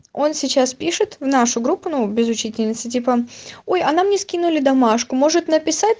он сейчас пишет в нашу группу ну без учительницы типа ой а нам не скинули домашку может написать